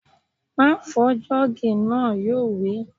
Má fọ jọ́ọ̀gì náà! Yóò wí